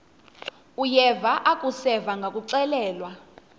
uyeva akuseva ngakuxelelwa